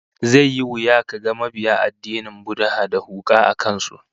Zai yi wuya kaga mabiya addinin Buddha da huka a kan su